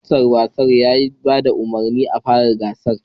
Ministan wasanni ya ba da umarnin a fara gasar